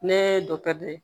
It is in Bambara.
Ne ye dɔkitɛri